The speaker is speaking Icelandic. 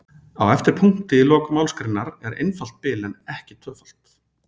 Á eftir punkti í lok málsgreinar er einfalt bil en ekki tvöfalt.